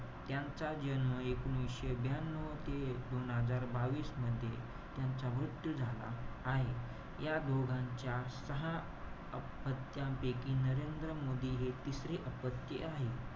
यांचा जन्म एकोणीशे ब्यान्यव ते दोन हजार बावीस मध्ये त्यांचा मृत्यू झाला आहे. या दोघांच्या सहा अपत्यांपैकी, नरेंद्र मोदी हे तिसरे अपत्य आहे.